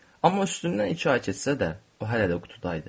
Amma üstündən iki ay keçsə də, o hələ də qutuda idi.